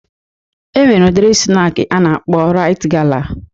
E nwere udiri snak a na-akpọ Rite gala